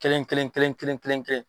Kelen kelen kelen kelen kelenkɛ kelen.